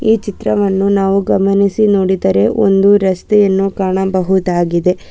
ಈ ಚಿತ್ರವನ್ನು ನಾವು ಗಮನಿಸಿ ನೋಡಿದರೆ ಒಂದು ರಸ್ತೆಯನ್ನು ಕಾಣಬಹುದಾಗಿದೆ.